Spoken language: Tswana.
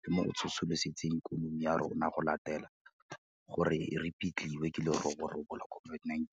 le mo go tsosoloseng ikonomi ya rona go latela gore e repitliwe ke leroborobo la COVID-19.